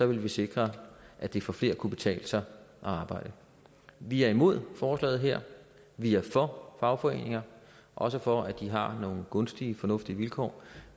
vi sikre at det for flere kunne betale sig at arbejde vi er imod forslaget her vi er for fagforeninger og også for at de har nogle gunstige fornuftige vilkår